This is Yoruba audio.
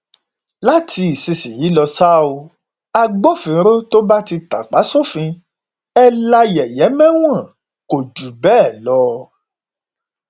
láti ìsinsìnyìí lọ ṣáá o agbófinró tó bá ti tàpá sófin ẹ la yẹyẹ mẹwọn kò jù bẹẹ lọ